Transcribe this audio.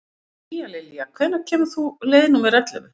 Tíalilja, hvenær kemur leið númer ellefu?